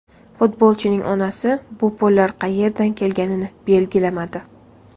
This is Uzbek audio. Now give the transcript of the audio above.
Futbolchining onasi bu pullar qayerdan kelganini belgilamadi.